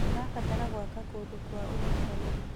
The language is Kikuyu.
Tũrabatara gwaka kũndũ kwa ũnyitanĩri.